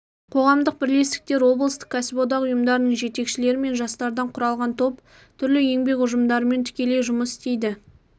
қоғамдық бірлестіктер облыстық кәсіподақ ұйымдарының жетекшілері мен жастардан құралған топ түрлі еңбек ұжымдарымен тікелей жұмыс істейді